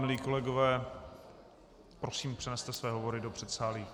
Milí kolegové., prosím, přeneste své hovory do předsálí.